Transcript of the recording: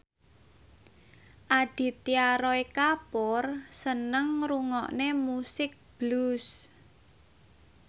Aditya Roy Kapoor seneng ngrungokne musik blues